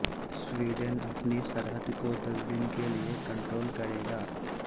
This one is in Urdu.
سویڈن اپنی سرحد کو دس دن کےلیے کنٹرول کرے گا